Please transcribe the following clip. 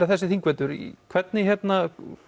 þessi þingvetur hvernig